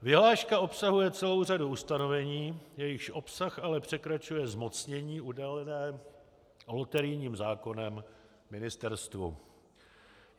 Vyhláška obsahuje celou řadu ustanovení, jejichž obsah ale překračuje zmocnění udělené loterijním zákonem ministerstvu.